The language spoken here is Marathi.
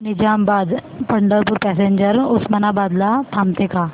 निजामाबाद पंढरपूर पॅसेंजर उस्मानाबाद ला थांबते का